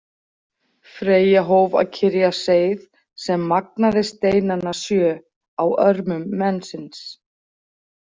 Freyja hóf að kyrja seið sem magnaði steinana sjö á örmum mensins.